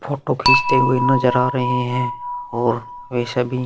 photo खींचते हुए नजर आ रहे हैं और वे सभी --